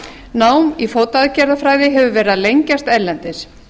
nám í fótaaðgerðafræði hefur verið að lengjast erlendis